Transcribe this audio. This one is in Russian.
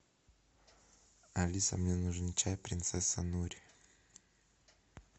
алиса мне нужен чай принцесса нури